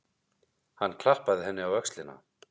Hann klappaði henni á öxlina.